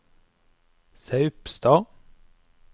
Saupstad